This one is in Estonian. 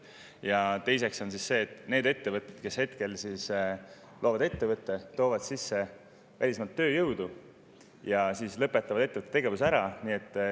Ja teine: ettevõtete, kes loovad ettevõtte, toovad välismaalt sisse tööjõudu ja siis lõpetavad ettevõtte tegevuse ära.